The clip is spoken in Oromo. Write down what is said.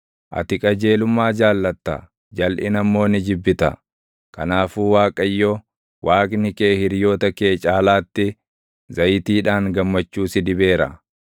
Ati qajeelummaa jaallatta; jalʼina immoo ni jibbita; kanaafuu Waaqayyo, Waaqni kee hiriyoota kee caalaatti, zayitiidhaan gammachuu si dibeera.